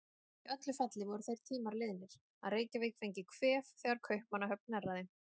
Í öllu falli voru þeir tímar liðnir, að Reykjavík fengi kvef þegar Kaupmannahöfn hnerraði.